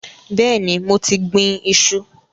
Bẹẹni, mo ti gbìn-ín iṣu